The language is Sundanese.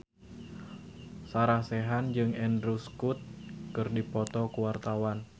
Sarah Sechan jeung Andrew Scott keur dipoto ku wartawan